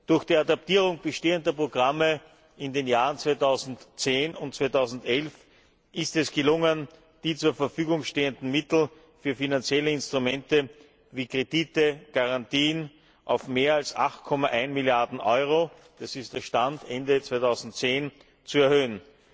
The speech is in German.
Durch die Adaptierung bestehender Programme in den Jahren 2010 und 2011 ist es gelungen, die zur Verfügung stehenden Mittel für finanzielle Instrumente wie Kredite, Garantien auf mehr als 8,1 Milliarden EUR das ist der Stand Ende 2010 zu erhöhen.